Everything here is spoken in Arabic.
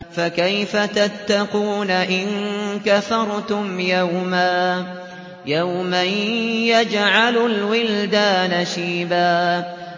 فَكَيْفَ تَتَّقُونَ إِن كَفَرْتُمْ يَوْمًا يَجْعَلُ الْوِلْدَانَ شِيبًا